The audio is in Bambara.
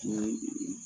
Ni